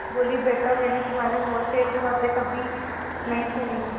बोलीबेटा मैंने तुम्हारे मुँह से ऐसी बातें कभी नहीं सुनी थीं